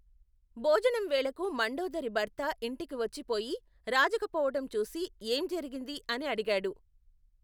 భోజనంవేళకు మండోదరి భర్త ఇంటికి వచ్చి పొయి రాజకపోవటం చూసి, ఏం జరిగింది? అని అడిగాడు.